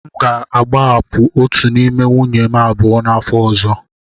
M ga-agbahapụ otu n'ime nwunye m abụọ n'afọ ọzọ.